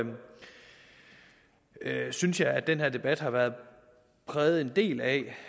jeg synes at den her debat har været præget en del af